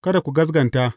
Kada ku gaskata.